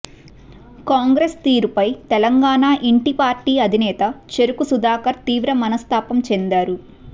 కాంగ్రెస్ తీరుపై తెలంగాణ ఇంటి పార్టీ అధినేత చెరుకు సుధాకర్ తీవ్ర మనస్ధాపం చెందారు